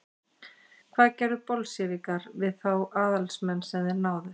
hvað gerðu bolsévikar við þá aðalsmenn sem þeir náðu